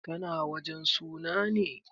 Ka na wajen suna ne?